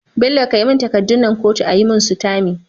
Bello kai mun takadun nan kotu ayi mun sitamfi